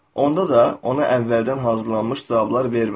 Onda da ona əvvəldən hazırlanmış cavablar vermə.